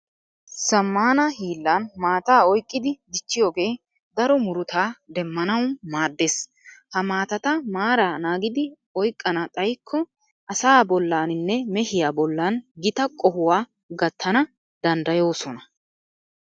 Zammaana hiillan mattaa oyqqidi dichchiyogee daro murutaa demmanawu maaddees. Ha mattata maara naagidi oyqqana xayikko asaa bollaaninne mehiya bollan gita qohuwa gattana danddayoosona.